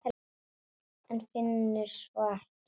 En finnur svo ekki neitt.